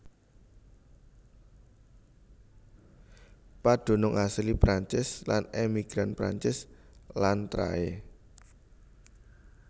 Padunung asli Prancis lan emigran Prancis lan trahé